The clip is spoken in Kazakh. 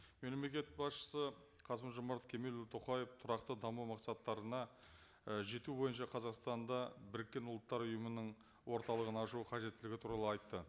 мемлекет басшысы қасым жомарт кемелұлы тоқаев тұрақты даму мақсаттарына і жету бойынша қазақстанда біріккен ұлттар ұйымының орталығын ашу қажеттілігі туралы айтты